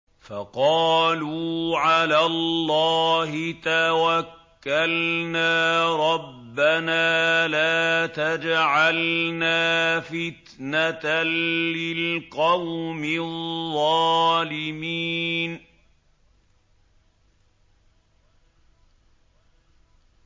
فَقَالُوا عَلَى اللَّهِ تَوَكَّلْنَا رَبَّنَا لَا تَجْعَلْنَا فِتْنَةً لِّلْقَوْمِ الظَّالِمِينَ